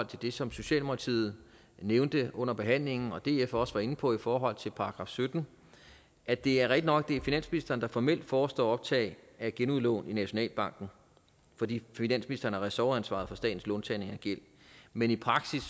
til det som socialdemokratiet nævnte under behandlingen og som df også var inde på i forhold til § sytten at det er rigtig nok at det er finansministeren der formelt forestår optag af genudlån i nationalbanken fordi finansministeren har ressortansvar for statens låntagning og gæld men i praksis